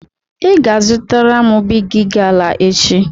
Ị ga-azụtara m Bigi gala echi!